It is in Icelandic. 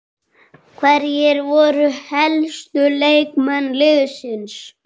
Hverjir voru helstu leikmenn liðsins?